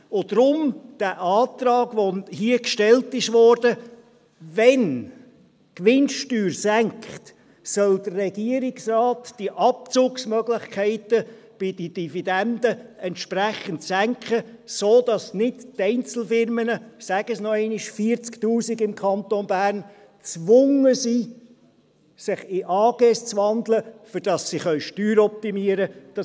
Deshalb der Antrag, der hier gestellt wurde: Wenn die Gewinnsteuer sinkt, soll der Regierungsrat diese Abzugsmöglichkeiten bei den Dividenden entsprechend senken, sodass die Einzelfirmen – ich sage es noch einmal, 40’000 im Kanton Bern – nicht gezwungen sind, sich in AGs umzuwandeln, damit sie Steuern optimieren können.